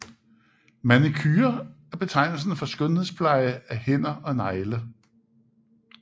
Manicure er betegnelsen for skønhedspleje af hænder og negle